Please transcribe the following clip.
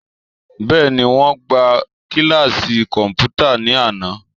Bẹ́ẹ̀ni, wọ́n gbá kíláàsì kọ̀m̀pútà ní àná